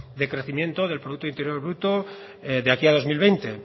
de crecimiento del producto interior bruto de aquí al dos mil veinte